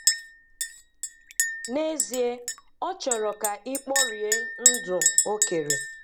N'ezie ọ chọrọ ka i kporie ndụ O kere.